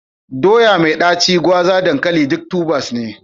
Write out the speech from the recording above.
Doya mai ɗaci, gwaza, dankali duk tubers ne.